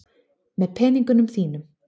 Með peningunum þínum.